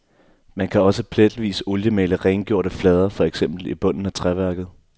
Man kan også pletvis at oliemale rengjorte flader, for eksempel i bunden af træværket.